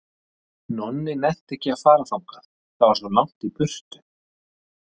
Nonni nennti ekki að fara þangað, það var svo langt í burtu.